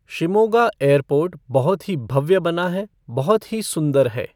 Shimoga airport बहुत ही भव्य बना है, बहुत ही सुंदर है।